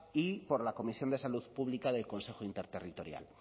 y por la comisión de salud pública del consejo interterritorial